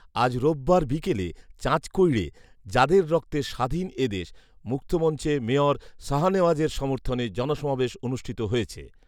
আজ রোববার বিকেলে চাঁচকৈড়ে ‘যাদের রক্তে স্বাধীন এদেশ” মুক্তমঞ্চে মেয়র শাহনেওয়াজের সমর্থনে জনসমাবেশ অনুষ্ঠিত হয়েছে